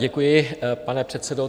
Děkuji, pane předsedo.